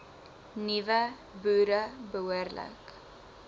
nuwe boere behoorlik